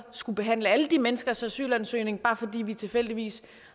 skulle behandle alle de menneskers asylansøgning bare fordi vi tilfældigvis